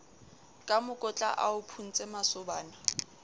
ka mokotla a o phuntsemasobana